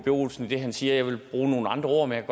olsen i det han siger jeg ville bruge nogle andre ord men jeg